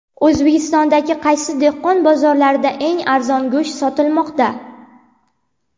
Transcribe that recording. O‘zbekistondagi qaysi dehqon bozorlarida eng arzon go‘sht sotilmoqda?.